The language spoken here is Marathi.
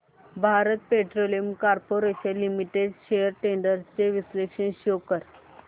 Bharat petroleum corporation limited shares trends चे विश्लेषण शो कर